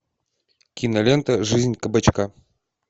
кинолента жизнь кабачка